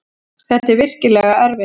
Þetta er virkilega erfitt.